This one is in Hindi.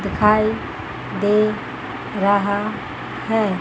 दिखाई दे रहा है।